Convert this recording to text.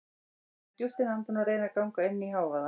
Ég dreg djúpt inn andann og reyni að ganga inn í hávaða